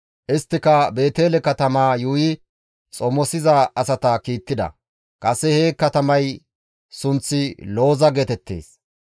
Isttika Beetele katamaa yuuyi xomosiza asata kiittida; kase he katamay sunththi Looza geetettees.